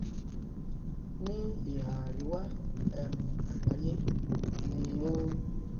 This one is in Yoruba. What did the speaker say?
ní ìhà àríwá um àgbáyé ni o